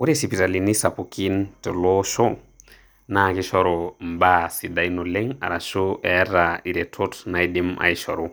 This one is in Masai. Ore isipitalini sapukin te ele oshi naa kishoru imbaa sidain oleng' arashu eeta iretot naidim aishoru,